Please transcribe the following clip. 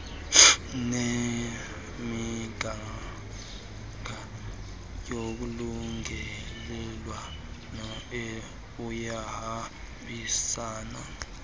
ngemigaqo yolungelelwano iyahambisana